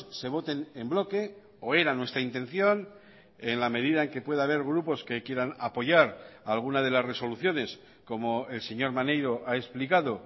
se voten en bloque o era nuestra intención en la medida en que pueda haber grupos que quieran apoyar alguna de las resoluciones como el señor maneiro ha explicado